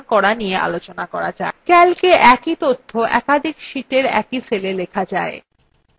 calc a একই তথ্য একাধিক sheetsএর একই cella লেখা যায়